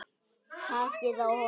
Takið á honum!